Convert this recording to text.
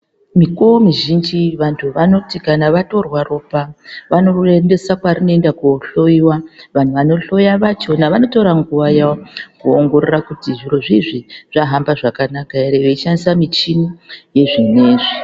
Mikuwo mizhinji vanhu vanoti kana vatorwa ropa vanoriendesa kwarinoenda kunohloiwa, vanhu vanohloya vachona vanotora nguva yavo kuti zvirozvo izvi zvahamba zvakanaka ere veishandisa michini yezvinezvi.